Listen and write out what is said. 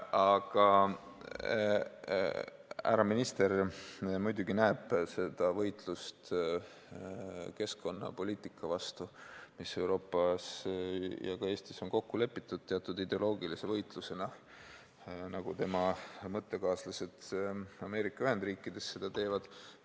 Härra minister näeb muidugi seda võitlust keskkonnapoliitika vastu, mis Euroopas ja ka Eestis on kokku lepitud, teatud ideoloogilise võitlusena, nagu tema mõttekaaslased Ameerika Ühendriikides seda teevad.